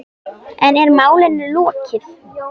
En er málinu lokið?